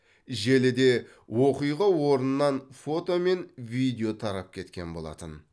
желіде оқиға орнынан фото мен видео тарап кеткен болатын